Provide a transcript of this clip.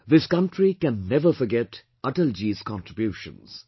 This country can never forget Atalji's contributions